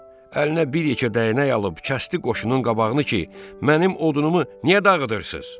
Əlinə bir yekə dəynək alıb, kəsdi qoşunun qabağını ki, mənim odunumu niyə dağıdırsınız?